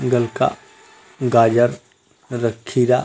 गलका गाजर र खीरा--